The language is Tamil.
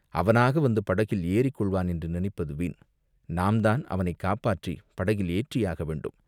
அவனாக வந்து படகில் ஏறிக் கொள்வான் என்று நினைப்பது வீண், நாம்தான் அவனைக் காப்பாற்றிப் படகில் ஏற்றியாக வேண்டும்